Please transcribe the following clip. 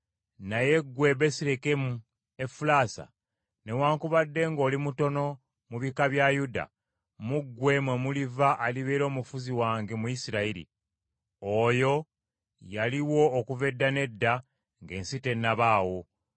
“Naye ggwe Besirekemu Efulasa, newaakubadde ng’oli mutono mu bika bya Yuda, mu ggwe mwe muliva alibeera omufuzi wange mu Isirayiri. Oyo yaliwo okuva edda n’edda, ng’ensi tennabaawo.”